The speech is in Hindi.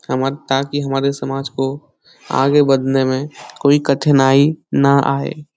ताकि हमारे समाज को आगे बढ़ने में कोई कठिनाई ना आए ।